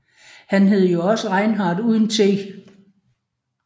Han hed jo også Reinhard uden t